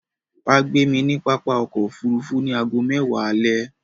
Wà gbé mi ni pápá ọkọ̀ òfurufú ni àágọ mẹ́wa alẹ̀.